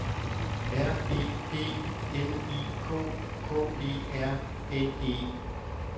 R E P L I K K E R N E